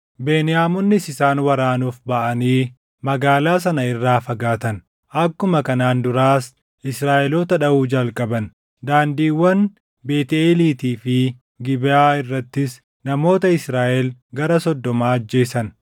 Beniyaamonnis isaan waraanuuf baʼanii magaalaa sana irraa fagaatan. Akkuma kanaan duraas Israaʼeloota dhaʼuu jalqaban; daandiiwwan Beetʼeeliitii fi Gibeʼaa irrattis namoota Israaʼel gara soddoma ajjeesan.